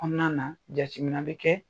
konɔnana, jatemina bɛ kɛ